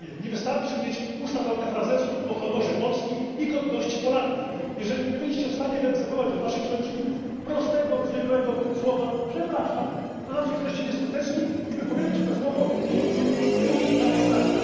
Panowie, nie wystarczy mieć usta pełne frazesów o honorze Polski i godności Polaków, jeżeli nie byliście w stanie wyegzekwować od waszych sojuszników prostego, zwykłego słowa przepraszam, to znaczy jesteście nieskuteczni i wypowiedzcie to słowo w ich imieniu tu na tej sali.